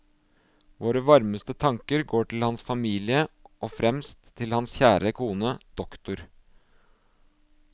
Våre varmeste tanker går til hans familie, og fremst til hans kjære kone, dr.